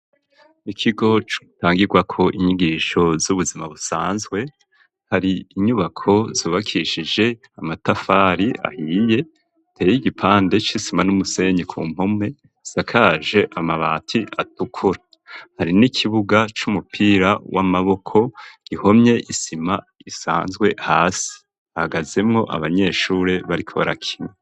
Ikigo cotangirwako inyigisho z'ubuzima busanzwe, hari inyubako zubakishije amatafari ahiye ateye igipande c'isima n'umusenyi ku mpome, isakaje amabati atukura, hari n'ikibuga c'umupira w'amaboko gihomye isima isanzwe hasi, hahagazemwo abanyeshure bariko barakina.